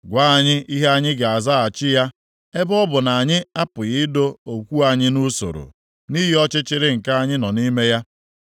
“Gwa anyị ihe anyị ga-azaghachi ya; ebe ọ bụ na anyị apụghị ido okwu anyị nʼusoro nʼihi ọchịchịrị nke anyị nọ nʼime ya.